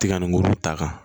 Tiga nun ta kan